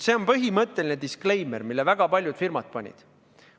See on põhimõtteline disclaimer, mille väga paljud firmad panid.